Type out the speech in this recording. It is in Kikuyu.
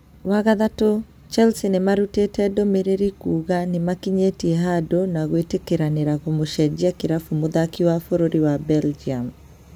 Wagathatũ, Chelsea nĩmarũtĩte ndũmĩrĩri kuuga nĩmakinyite handu na gwĩtĩkĩranĩra kũmũcejia kirafu mũthaki wa bũrũri wa Belgium